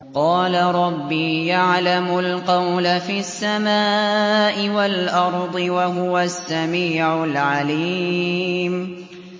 قَالَ رَبِّي يَعْلَمُ الْقَوْلَ فِي السَّمَاءِ وَالْأَرْضِ ۖ وَهُوَ السَّمِيعُ الْعَلِيمُ